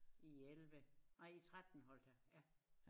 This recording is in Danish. I 11 nej i 13 holdt jeg